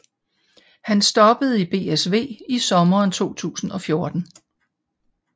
Han stoppede i BSV i sommeren 2014